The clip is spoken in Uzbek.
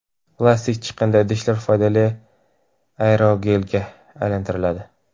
Plastik chiqindi idishlar foydali aerogelga aylantiriladi.